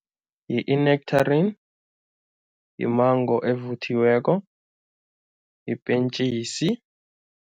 Yi-nectarine, yimango evuthiweko, yipentjisi.